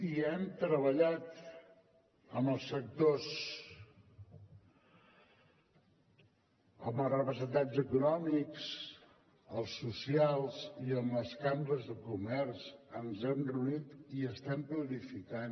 i hem treballat amb els sectors amb els representants econòmics els socials i amb les cambres de comerç ens hi hem reunit i estem planificant